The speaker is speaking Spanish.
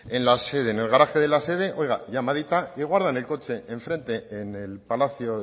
en el garaje de la sede oiga llamadita y guardan el coche en frente en el palacio